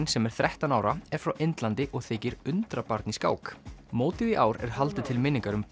sem er þrettán ára er frá Indlandi og þykir undrabarn í skák mótið í ár er haldið til minningar um